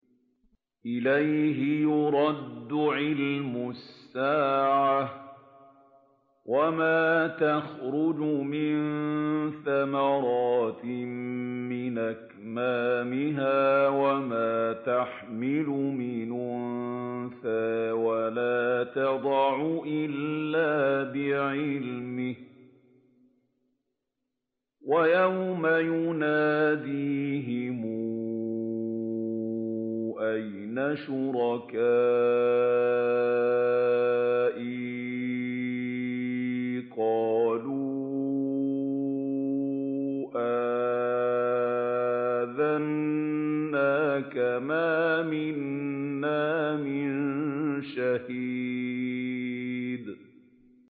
۞ إِلَيْهِ يُرَدُّ عِلْمُ السَّاعَةِ ۚ وَمَا تَخْرُجُ مِن ثَمَرَاتٍ مِّنْ أَكْمَامِهَا وَمَا تَحْمِلُ مِنْ أُنثَىٰ وَلَا تَضَعُ إِلَّا بِعِلْمِهِ ۚ وَيَوْمَ يُنَادِيهِمْ أَيْنَ شُرَكَائِي قَالُوا آذَنَّاكَ مَا مِنَّا مِن شَهِيدٍ